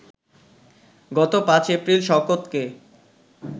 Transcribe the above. গত ৫ এপ্রিল শওকতকে